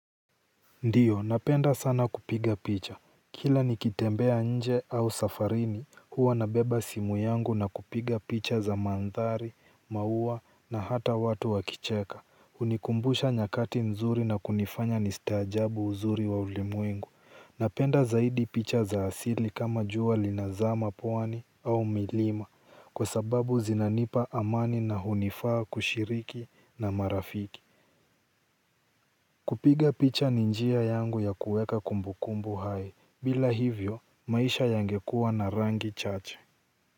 Ndiyo napenda sana kupiga picha. Kila nikitembea nje au safarini huwa nabeba simu yangu na kupiga picha za mandhari, maua na hata watu wakicheka hunikumbusha nyakati nzuri na kunifanya nistaajabu uzuri wa ulimwengu. Napenda zaidi picha za asili kama jua linazama pwani au milima kwa sababu zinanipa amani na hunifaa kushiriki na marafiki. Kupiga picha ni njia yangu ya kuweka kumbukumbu hai bila hivyo maisha yangekuwa na rangi chache.